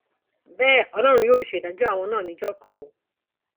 bẹẹ ọlọrun yóò sì ṣèdájọ àwọn náà níjọ kan o